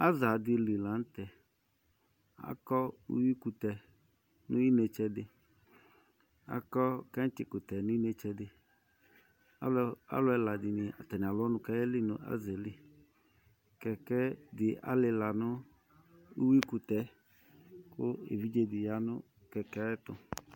Aza di li la nu tɛ Akɔ uyuikutɛ nu inetse di akɔ kɛtsikutɛ nu inetse di Alu ɛla dini atani alu ɔnu ku ayeli nu aza yɛ li Kɛkɛ di alila nu uyuikutɛ yɛ Ku evidze di ya nu kɛkɛ ɛtu